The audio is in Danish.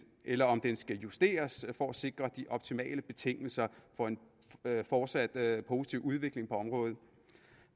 eller om den skal justeres for at sikre de optimale betingelser for en fortsat positiv udvikling på området